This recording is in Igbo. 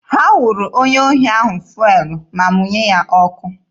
Ha wụrụ onye ohi ahụ fụelụ ma mụnye ya ọkụ.